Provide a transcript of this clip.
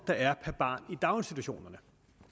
der er per barn i daginstitutionerne